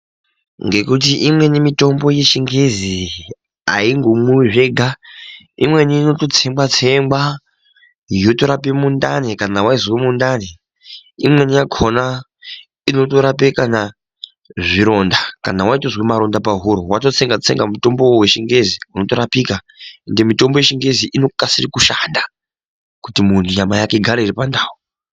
Ngekuti imweni mitombo yechingezi aindomwiwi zvega imweni inototsengwatsengwa yotorape mundani kana weizwe mundani, imweni yakhona inotorape kana zvironda kana waite maronda pahuro watotsengatsenga mutombowo wechingezi wotorapika ende mitombo yechingezi inokasire kushanda kuti muntu nyama yake igare iri pandau.